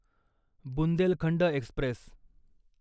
Bundelkhand Express